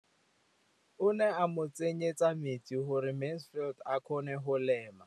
O ne gape a mo tsenyetsa metsi gore Mansfield a kgone go lema.